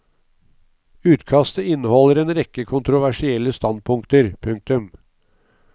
Utkastet inneholder en rekke kontroversielle standpunkter. punktum